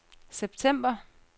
september